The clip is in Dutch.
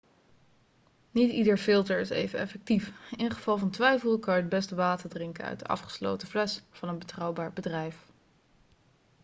niet ieder filter is even effectief in geval van twijfel kan je het beste water drinken uit een afgesloten fles van een betrouwbaar bedrijf